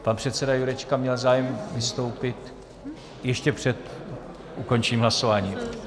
Pan předseda Jurečka měl zájem vystoupit ještě před ukončením hlasování.